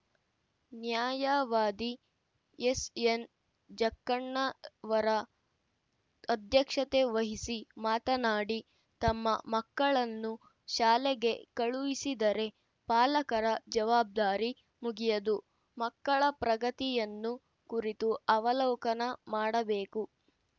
ನ್ಯಾಯವಾದಿ ಎಸ್ಎನ್ಜಕ್ಕಣ್ಣವರ ಅಧ್ಯಕ್ಷತೆವಹಿಸಿ ಮಾತನಾಡಿ ತಮ್ಮ ಮಕ್ಕಳನ್ನು ಶಾಲೆಗೆ ಕಳುಹಿಸಿದರೆ ಪಾಲಕರ ಜವಾಬ್ದಾರಿ ಮುಗಿಯದು ಮಕ್ಕಳ ಪ್ರಗತಿಯನ್ನು ಕುರಿತು ಅವಲೋಕನ ಮಾಡಬೇಕು